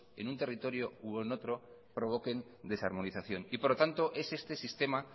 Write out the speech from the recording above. en un territorio u en otro provoquen desarmonización por lo tanto es este sistema